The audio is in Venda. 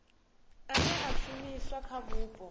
ane a shumiswa kha vhupo